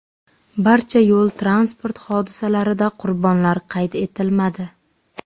Barcha yo‘l-transport hodisalarida qurbonlar qayd etilmadi.